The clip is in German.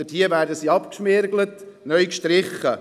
Dort werden sie abgeschmirgelt und neu gestrichen.